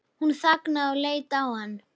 Hún þagnaði og leit á hann.